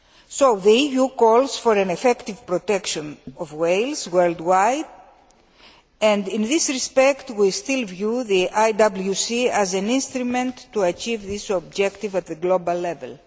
So the EU calls for effective protection of whales worldwide, and in this respect we still view the IWC as an instrument to achieve this objective at global level.